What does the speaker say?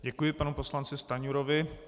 Děkuji panu poslanci Stanjurovi.